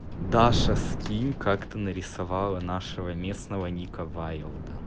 даша скинь как ты нарисовала нашего местного ника ваелда